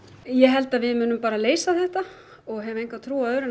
ég held að við munum bara leysa þetta og hef enga trú á öðru